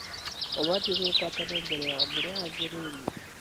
Ũbatie gwĩkwo tene mbere ya mbura yanjĩrĩrie